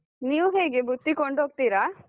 ನೀವು ಹೇಗೆ ಬುತ್ತಿ ಕೊಂಡೋಗ್ತಿರಾ?